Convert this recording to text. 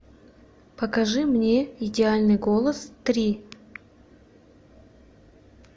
покажи мне идеальный голос три